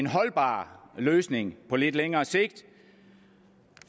holdbar løsning på lidt længere sigt